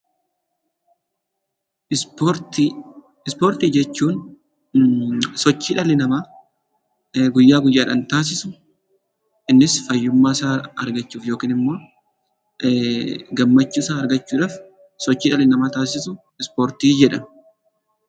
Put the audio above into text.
Ispoortii Ispoortii jechuun sochii dhalli namaa guyyaa guyyaadhaan taasisu, innis fayyummaa isaa argachuuf yookiin immoo gammachuu isaa argachuudhaaf sochii dhalli namaa taasisu ispoortii jedhama.